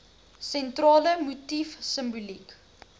sentrale motief simboliek